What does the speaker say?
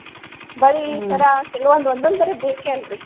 ಬಳಿ ಸರ ಕೆಲವೊಂದು ಒಂದೊಂದರೆ ಬೇಕೆ ಅಲ್ರಿ.